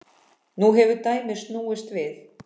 Nú hefur dæmið snúist við.